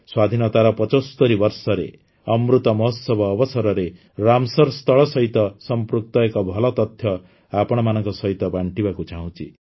ସ୍ୱାଧୀନତାର ୭୫ ବର୍ଷରେ ଅମୃତ ମହୋତ୍ସବ ଅବସରରେ ରାମସର ସ୍ଥଳ ସହିତ ସଂପୃକ୍ତ ଏକ ଭଲ ତଥ୍ୟ ଆପଣଙ୍କ ସହିତ ବାଣ୍ଟିବାକୁ ଚାହୁଁଛି